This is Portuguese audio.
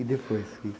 E depois que